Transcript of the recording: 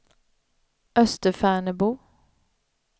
Österfärnebo